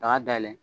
Daga dayɛlɛn